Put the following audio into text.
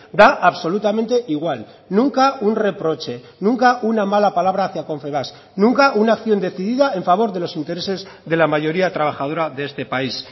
da absolutamente igual nunca un reproche nunca una mala palabra hacia confebask nunca una acción decidida en favor de los intereses de la mayoría trabajadora de este país